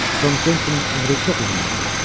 Tom Kentsinin ömrü çox uzun oldu.